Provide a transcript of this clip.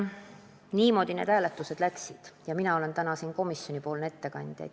Niimoodi need hääletused läksid ja mina olen täna siin komisjonipoolne ettekandja.